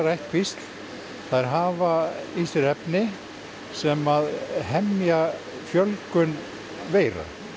ættkvísl þær hafa í sér efni sem hemja fjölgun veira